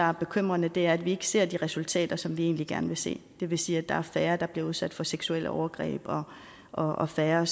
er bekymrende er at vi ikke ser de resultater som vi egentlig gerne vil se det vil sige at der er færre der bliver udsat for seksuelle overgreb og og færre